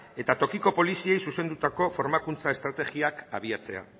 eta tokiko poliziei zuzendutako formakuntza estrategiak abiatzea